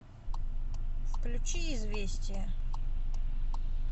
включи известия